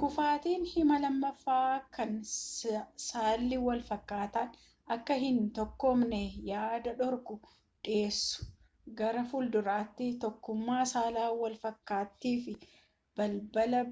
kufaatiin hima lamaffaa kan saalli wal fakkaatan akka hin tokkoomnee yaada dhorku dhiyeessu gara fuulduraatti tokkummaa saala walfakkiitiif balbala